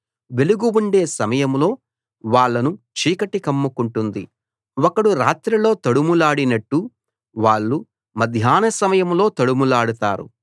వెలుగు ఉండే సమయంలో వాళ్లను చీకటి కమ్ముకుంటుంది ఒకడు రాత్రిలో తడుములాడినట్టు వాళ్ళు మధ్యాహ్న సమయంలో తడుములాడతారు